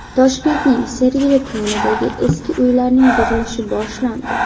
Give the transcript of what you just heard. Toshkentning Sergeli tumanidagi eski uylarning buzilishi boshlandi.